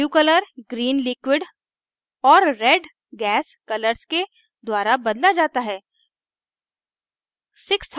blue color green liquid और red gas colors के द्वारा blue जाता है